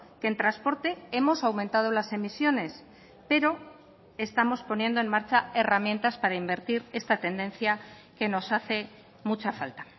que en transporte hemos aumentado las emisiones pero estamos poniendo en marcha herramientas para invertir esta tendencia que nos hace mucha falta